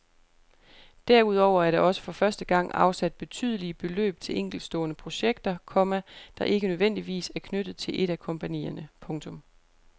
Derudover er der også for første gang afsat betydelige beløb til enkeltstående projekter, komma der ikke nødvendigvis er knyttet til et af kompagnierne. punktum